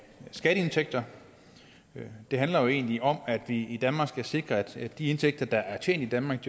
skatteindtægter det handler jo egentlig om at vi i danmark skal sikre at de indtægter der er tjent i danmark